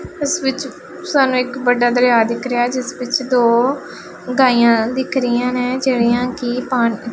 ਇਸ ਵਿੱਚ ਸਾਨੂੰ ਇੱਕ ਵੱਡਾ ਦਰਿਆ ਦਿਖ ਰਿਹਾ ਹੈ ਜਿਸ ਵਿੱਚ ਦੋ ਗਾਈਆਂ ਦਿਖ ਰਹੀਆਂ ਨੇ ਜਿਹੜੀਆਂ ਕਿ ਪਾਣੀ --